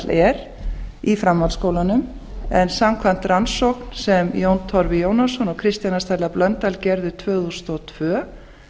er í framhaldsskólunum en samkvæmt rannsókn sem jón torfi jónasson og kristjana stella blöndal gerðu tvö þúsund og tvö